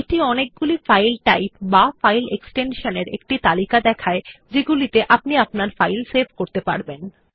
এটি অনেকগুলি file type বা ফাইল এক্সটেনশন এর একটি তালিকা দেখায় যাতে আপনি আপনার ফাইল সেভ করতে পারেন